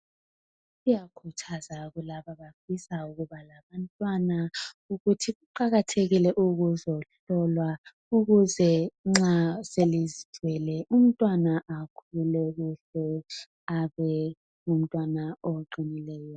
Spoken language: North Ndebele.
Kuyakhuthazwa kulabo abafisa ukuba labantwana ukuthi kuqakathekile ukuzohlolwa ukuze nxa selizithwele umntwana akhule kuhle abe ngumntwana oqinileyo.